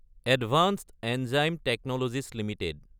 advanced enzyme technologies Ltd